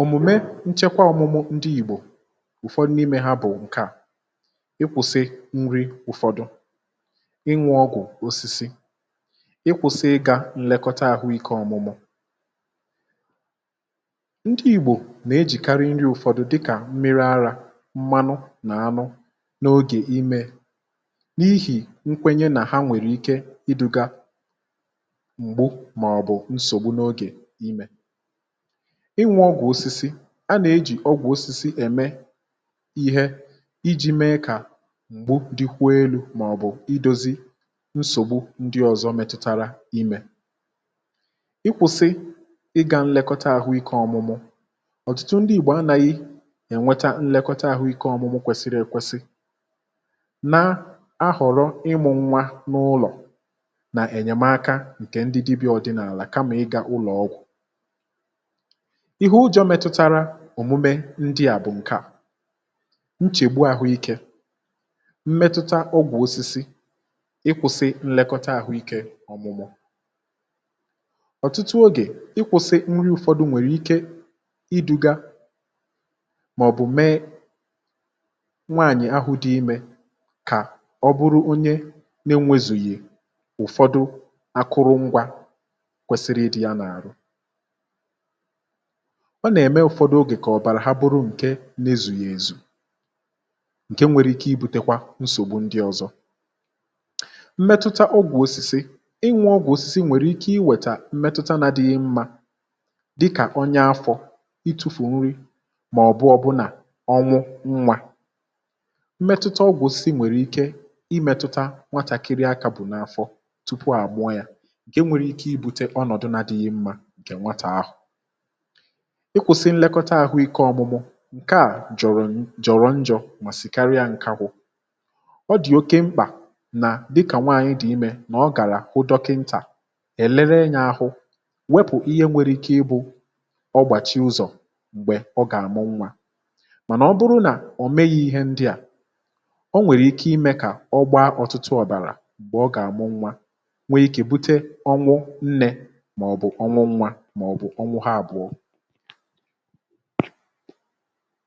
ụfọdụ nwekwara ike iweta nsogbu. n’ọmụmụ ndị ìgbò, ụ̀fọdụ n’ime ha bụ̀ ǹkè à, dịka ịnwẹ ọgwụ̀ osisi, ịkwụ̇sị ịgȧ nlekọta àhụike ọ̀mụ̀mụ̀. ndị ìgbò nà-ejìkarị nri ụ̀fọdụ dịkà mmiri, arȧ, mmanụ, nà anụ n’ogè imė, n’ihì nkwenye nà ha nwèrè ike ịdụ̇gȧ m̀gbu màọ̀bụ̀ nsògbu n’ogè imė. ịnwẹ ọgwụ̀ osisi a, ọ bụ ihe e ji eme ka nsògbu ndị ọ̀zọ metụtara imė belata. ma um ị hụ̀, ọtụtụ ndị ìgbò anȧghị̇ enweta nlekọta àhụike ọ̀mụmụ kwesiri èkwesi, ha na-ahọ̀rọ̀ ịmụ̇ nwa n’ụlọ̀ nà enyèmaka ǹkè ndị dibì ọ̀dịnàlà, kama ịga ụlọ̀ ọgwụ̀. ihe a, n’eziokwu, nwere ihe ize ndụ. ikwụ̇sị nlekọta àhụike ọ̀mụmụ, ọ na-akpata nchègbu um. ụfọdụ nri a na-egbochi, mgbe e mesịrị, nwekwara ike iduga ka nwaànyị̀ ahụ dị imė ghara inweta akụrụngwȧ dị mkpa n’àrụ. ọ na-eme ka ọ̀bara ghara izù oke, nke nwere ike ibu̇tẹ nsògbu ndị ọzọ. mmetụta ọgwụ̀òsìsì, ị ghọta, nwekwara ike ịdị njọ um. ọ nwere ike imetụta nne — dịka afọ itufù nri — màọ̀bụ̀ ọ̀bụna imetụta nwa n’afọ tupu a mụọ ya. nke a nwekwara ike ibute ọnọ̀dụ̀ na-adịghị mma. ị hụ̀? ọ bụrụ na e kwụsịrị nlekọta àhụ ike ọ̇mụ̇mụ̇, ihe a jọ̀rọ̀ njọ̇. ọ bụkwa ihe mere ka ọ dị mkpa ka nwaànyị dị̀ imė gàrà hụ dọkịntà, um ka e wee lelee ahụ, wepụ ihe nwere ike bụrụ ọgbàchị ụzọ̀ n’oge a gààmụ nwa. n’eziokwu, ọ bụrụ nà a meghighi ihe ndị à, ọ nwere ike iduga ka ọ gbaa ọ̀tụtụ ọ̀bàrà, mee ka ọnwụ nnė, màọ̀bụ̀ ọnwụ nwa, màọ̀bụ̀ ọbụna ọnwụ ha àbụọ.